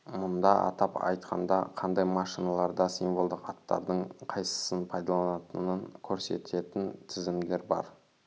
мұнда атап айтқанда қандай машиналарда символдық аттардың қайсысын пайдаланатынын көрсететін тізімдер бар